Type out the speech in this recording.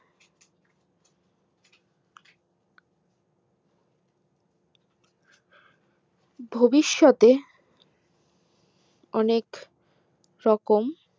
ভীবিষৎ এ অনেক রকম